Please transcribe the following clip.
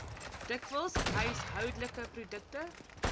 dikwels huishoudelike produkte